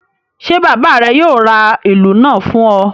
Ṣé bàbá rẹ yóò ra ìlù náà fún ọ.